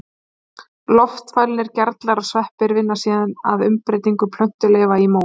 Loftfælnir gerlar og sveppir vinna síðan að umbreytingu plöntuleifanna í mó.